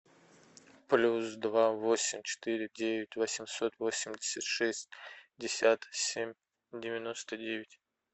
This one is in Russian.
плюс два восемь четыре девять восемьсот восемьдесят шестьдесят семь девяносто девять